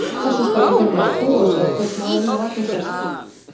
Þessu skal ég hreinlega trúa, sagði kaupmaðurinn og var nú sestur.